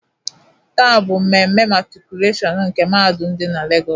Tàà bụ mmemme matrikulashionu nke mahadum dị na Legos.